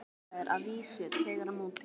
Samræður að vísu með tregara móti.